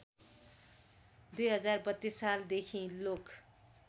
२०३२ सालदेखि लोक